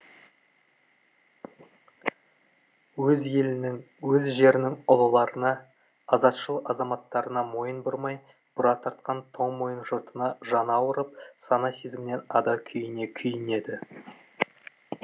өз елінің өз жерінің ұлыларына азатшыл азаматтарына мойын бұрмай бұра тартқан тоңмойын жұртына жаны ауырып сана сезімнен ада күйіне күйінеді